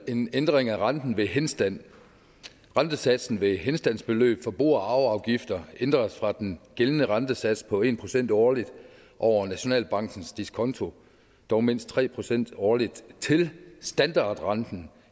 en ændring af renten ved henstand rentesatsen ved henstandsbeløb for bo og arveafgifter ændres fra den gældende rentesats på en procent årligt over nationalbankens diskonto dog mindst tre procent årligt til standardrenten